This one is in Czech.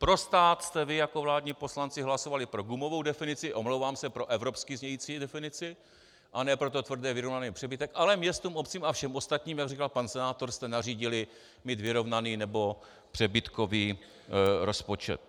Pro stát jste vy jako vládní poslanci hlasovali pro gumovou definici, omlouvám se, pro evropsky znějící definici, a ne pro ten tvrdě vyrovnaný přebytek, ale městům, obcím a všem ostatním, jak říkal pan senátor, jste nařídili mít vyrovnaný nebo přebytkový rozpočet.